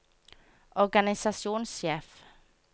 organisasjonssjef